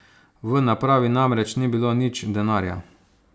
V napravi namreč ni bilo nič denarja.